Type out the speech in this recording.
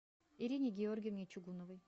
ирине георгиевне чугуновой